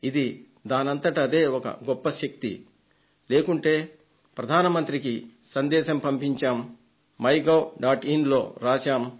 ఇది దానంతటదే ఒక గొప్ప శక్తి లేకుంటే ప్రధాన మంత్రికి సందేశం పంపించాం మై గవ్ డాట్ ఇన్ లో రాశాం